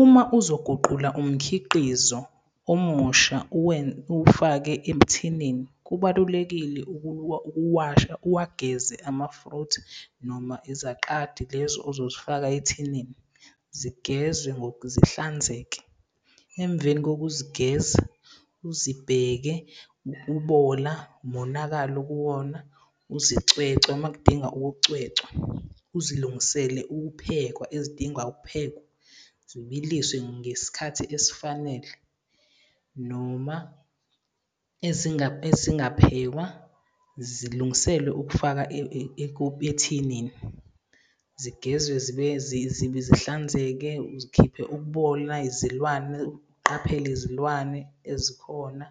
Uma uzoguqula umkhiqizo omusha uwufake ethinini, kubalulekile ukuwasha, uwageze amafruthi noma izaqadi, lezi ozozifaka ethinini, zigezwe zihlanzeke. Emveni kokuzigeza uzibheke ukubola, umonakalo kuwona, uzicwecwe uma kudinga ukucwecwa. Uzilungisele ukuphekwa ezidinga ukuphekwa, zbiliswe ngesikhathi esifanele noma ezingaphekwa zilungiselwe ukufaka ethinini. Zigezwe zibe zibe zihlanzeke, uzikhiphe uboya, izilwane, uqaphele izilwane ezikhona.